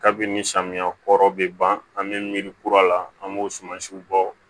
Kabini samiya kɔrɔ bɛ ban an bɛ miiri kura la an b'o sumansiw bɔ